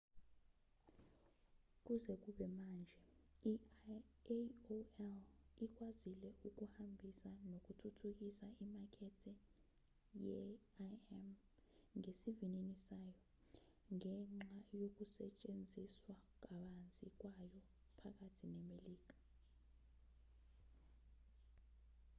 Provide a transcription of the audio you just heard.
kuze kube manje i-aol ikwazile ukuhambisa nokuthuthukisa imakethe ye-im ngesivinini sayo ngenxa yokusetshenziswa kabanzi kwayo phakathi nemelika